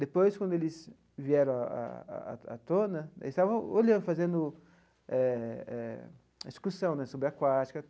Depois, quando eles vieram a a a à tona, eles estavam olhando fazendo eh eh uma excursão né subaquática.